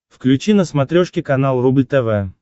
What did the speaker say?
включи на смотрешке канал рубль тв